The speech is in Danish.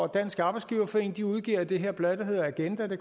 dansk arbejdsgiverforening udgiver det her blad der hedder agenda det